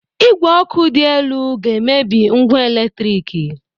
Igwe ọkụ dị elu ga-emebi ngwa eletriki